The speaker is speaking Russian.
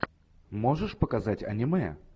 можешь показать аниме